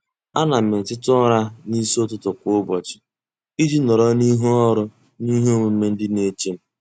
A na m eteta ụra n'isi ụtụtụ kwa ụbọchị iji nọrọ n'ihu ọrụ ihe omume ndị na-eche m.